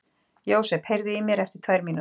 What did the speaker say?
Jósep, heyrðu í mér eftir tvær mínútur.